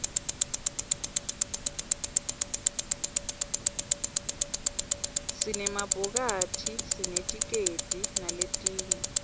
sinema bhokathisinetikedi naletinye